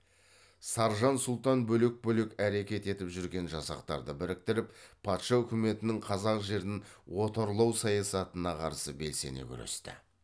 саржан сұлтан бөлек бөлек әрекет етіп жүрген жасақтарды біріктіріп патша үкіметінің қазақ жерін отарлау саясатына қарсы белсене күресті